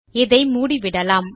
இதை மூடிவிடலாம்